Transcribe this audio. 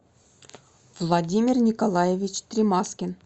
владимир николаевич тримаскин